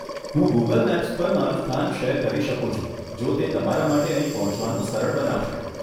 હું Google Maps પર મારું સ્થાન શેર કરી શકું છું જો તે તમારા માટે અહીં પહોંચવાનું સરળ બનાવશે.